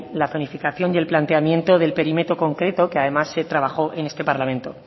la cronificación y el planteamiento del perímetro concreto que además se trabajó en este parlamento